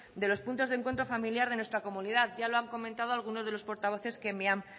de los puntos de encuentro familiar de nuestra comunidad ya lo han comentado algunos de los portavoces que me han